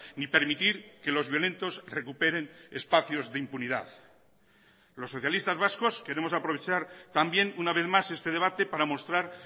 ni permitir que los violentos recuperen espacios de impunidad los socialistas vascos queremos aprovechar también una vez más este debate para mostrar